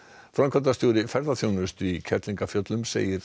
framkvæmdastjóri ferðaþjónustu í Kerlingafjöllum segir